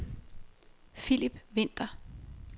Philip Vinther